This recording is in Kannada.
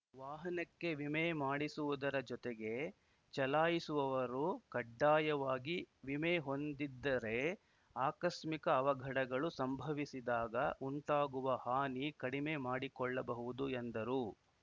ವಾಹನಕ್ಕೆ ವಿಮೆ ಮಾಡಿಸುವುದರ ಜೊತೆಗೆ ಚಲಾಯಿಸುವವರು ಕಡ್ಡಾಯವಾಗಿ ವಿಮೆ ಹೊಂದಿದ್ದರೆ ಆಕಸ್ಮಿಕ ಅವಘಡಗಳು ಸಂಭಸಿದಾಗ ಉಂಟಾಗುವ ಹಾನಿ ಕಡಿಮೆ ಮಾಡಿಕೊಳ್ಳಬಹುದು ಎಂದರು